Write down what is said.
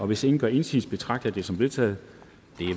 hvis ingen gør indsigelse betragter jeg det som vedtaget